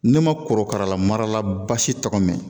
Ne ma korokara marala basi tɔgɔ mɛn